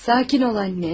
Sakin ol anne.